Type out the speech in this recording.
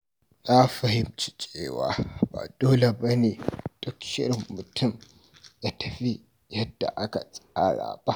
Na fahimci cewa ba dole ba ne duk shirin mutum ya tafi yadda aka tsara ba.